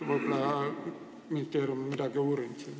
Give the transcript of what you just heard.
Võib-olla ministeerium on siiski midagi uurinud.